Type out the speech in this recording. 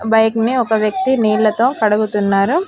Bike నీ ఒక వ్యక్తి నీళ్లతో కడుగుతున్నారు.